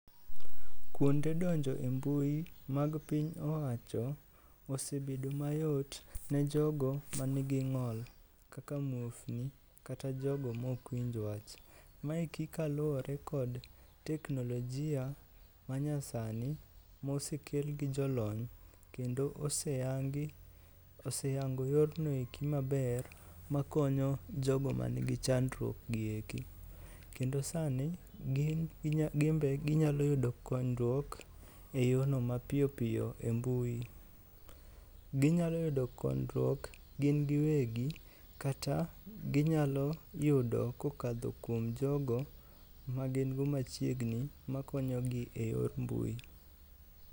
Kuonde donjo e mbui mag piny owacho osebedo mayot ne jogo manigi ng'ol kaka muofni kata jogo ma ok winj wach. Maeki kaluwore kod teknolojia manyasani mosekel gi jolony kendo moseyango yorno eki maber makonyo jogo manigi chandruokgi eki. Kendo sani gin be ginyalo yudo konyruok e yono mapiyopiyo e mbui. Ginyalo yudo konyruok gin giwegi kata ginyalo yudo kokadho kuom jogo magin go machiegni makonyogi e yor mbui.